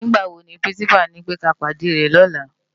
Nigbá wó ni pirinsipá nipè ká pádé rè lòlá?